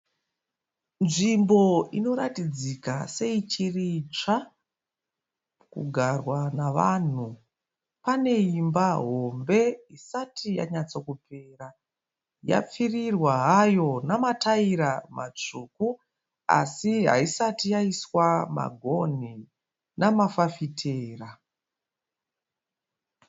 Nzvimbo inoratidzika seichiri itsva kugarwa navanhu. Pane imba hombe isati yanyatsakupera. Yapfurirwa hayo namataira matsvuku asi haisati yaiswa magonhi namafafitera.